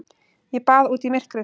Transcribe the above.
Ég bað út í myrkrið.